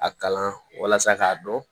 A kalan walasa k'a dɔn